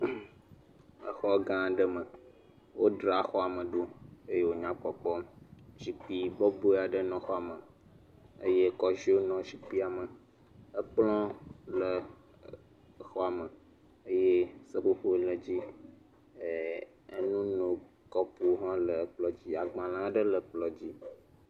Exɔ gã aɖe me, wodzra xɔa me ɖo eye wònya kpɔkpɔm. Zikpui bɔbɔe aɖe le xɔa me eye kɔziɔ nɔ zikpuia me, ekplɔ le exɔa me eye seƒoƒo le dzi, ee enunokɔpo hã le ekplɔ dzi, agbalẽ aɖe le ekplɔ dzi.